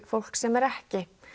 fólk sem er ekki